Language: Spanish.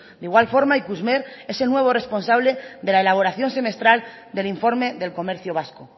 de igual forma ikusmer es el nuevo responsable de la elaboración semestral del informe del comercio vasco